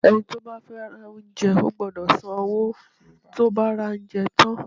Ẹni tí ó bá fẹ́ ra oúnjẹ gbọ́dọ̀ san owó tí ó bá ra oúnjẹ tán.